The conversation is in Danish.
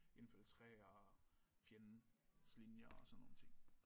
Infiltrere fjendens linjer og sådan nogle ting